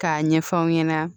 K'a ɲɛfɔ aw ɲɛna